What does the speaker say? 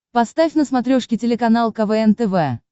поставь на смотрешке телеканал квн тв